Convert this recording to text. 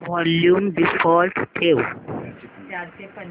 volume default ठेव